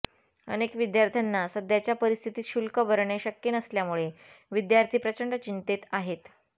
अनेक विद्यार्थ्यांना सध्याच्या परिस्थितीत शुल्क भरणे शक्य नसल्यामुळे विद्यार्थी प्रचंड चिंतेत आहेत